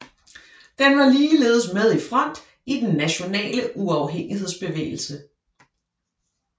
Den var ligeledes med i front i den Nationale Uafhængighedsbevægelse